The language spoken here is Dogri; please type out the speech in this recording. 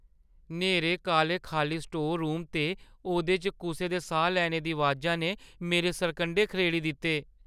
न्हेरे काले खाल्ली स्टोर रूमै ते ओह्दे च कुसै दे साह् लैने दी अबाजा ने मेरे सरकंढे खड़ेरी दित्ते।